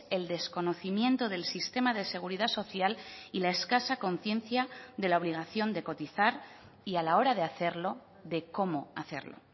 el desconocimiento del sistema de seguridad social y la escasa conciencia de la obligación de cotizar y a la hora de hacerlo de cómo hacerlo